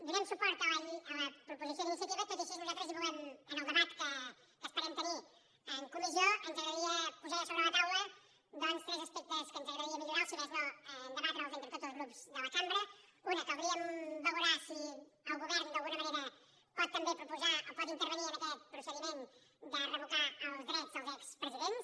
donem suport a la proposició d’iniciativa tot i així nosaltres en el debat que esperem tenir en comissió ens agradaria posar ja sobre la taula doncs tres aspectes que ens agradaria millorar ne o si més no debatre entre tots els grups de la cambra un caldria valorar si el govern d’alguna manera pot també proposar o pot intervenir en aquest procediment de revocar els drets dels expresidents